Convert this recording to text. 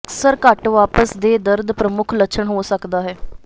ਅਕਸਰ ਘੱਟ ਵਾਪਸ ਦੇ ਦਰਦ ਪ੍ਰਮੁੱਖ ਲੱਛਣ ਹੋ ਸਕਦਾ ਹੈ